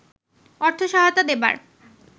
অর্থ সহায়তা দেবার